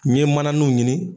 N ye mananunw ɲini